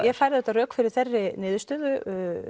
auðvitað rök fyrir þeirri niðurstöðu